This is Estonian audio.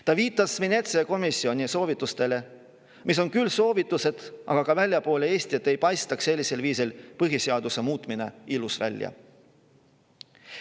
Ta viitas Veneetsia komisjoni soovitustele, mis on küll soovitused, aga ka väljaspool Eestit ei paistaks sellisel viisil põhiseaduse muutmine ilus välja.